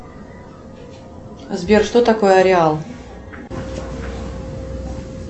сбер что такое ореал